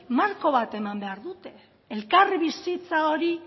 marko bat eman behar dute elkarbizitza hori